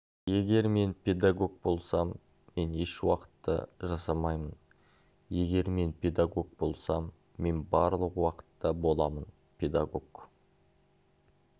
егер мен педагог болсам мен ешуақытта жасамаймын егер мен педагог болсам мен барлық уақытта боламын педагог